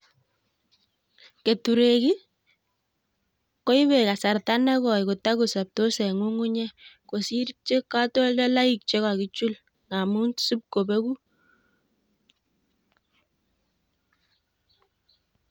Keturek kii ko ibe kasarta nekoe kotokosobtos en ngungunyek kosir che kotoldoloik chekokichul amun sipkobeku.